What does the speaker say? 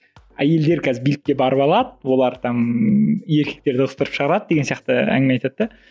әйелдер қазір билікке барып алады олар там еркектерді ығыстырып шығарады деген сияқты әңгіме айтады да